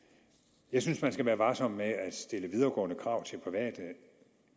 jeg synes at man skal være varsom med at stille videregående krav til private